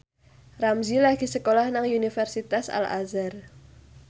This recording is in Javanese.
Ramzy lagi sekolah nang Universitas Al Azhar